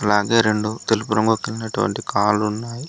అలాగే రెండు తెలుపు రంగు కలిగినటువంటి కాలు ఉన్నాయి.